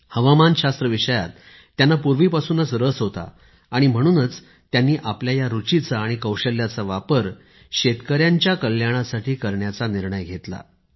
हवामान शास्त्र विषयात त्यांना पूर्वीपासूनच रस होता आणि म्हणूनच त्यांनी आपल्या या रुचिचा आणि कौशल्याचा वापर शेतकऱ्यांच्या कल्याणासाठी घेण्याचा निर्णय घेतला